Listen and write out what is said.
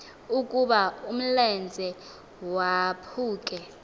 ukuba umlenze waphuke